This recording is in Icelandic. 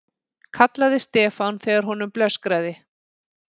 kallaði Stefán þegar honum blöskraði.